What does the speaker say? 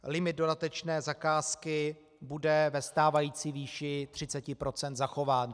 Limit dodatečné zakázky bude ve stávající výši 30 % zachován.